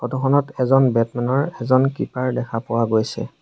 Photo খনত এজন batsman ৰ এজন কিপাৰ দেখা পোৱা গৈছে।